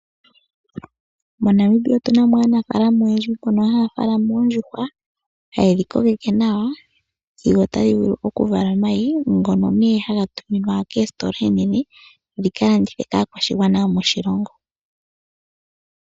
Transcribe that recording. MoNamibia otuna mo aanafaalama oyendji mbono haya faalama oondjuhwa, haye dhi kokeke nawa sigo tadhi vulu oku vala omayi ngono nee haga tuminwa koositola oonene dhika landithe kaakwashigwana yomoshilongo.